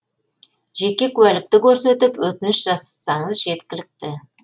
жеке куәлікті көрсетіп өтініш жазсаңыз жеткілікті